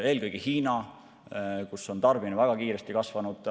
Eelkõige Hiinas on tarbimine väga kiiresti kasvanud.